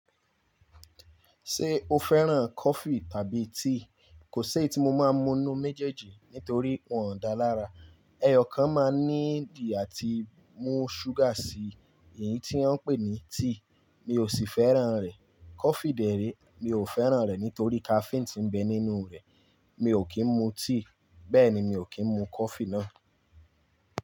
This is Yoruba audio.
Ṣé o fẹ́ràn coffee tàbí tea? Kò ṣí èyí tí mo máa mu inú méjèèjì nítorí wọn dà lára. Eyọ kan máa ní ìdí àti mú sugar sí i, èyí tí wọ́n ń pè ní tea. Mi ò sì fẹ́ràn rẹ̀. Coffee dẹ̀ ré, mi ò fẹ́ràn rẹ̀ nítorí caffeine tí ń bẹ nínú rẹ̀. Mi ò kí ń mu tea, bẹ́ẹ̀ ni mi ò kí ń mu coffee náà.